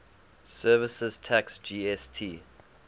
services tax gst